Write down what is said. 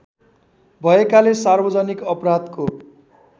भएकाले सार्वजनिक अपराधको